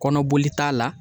Kɔnɔboli t'a la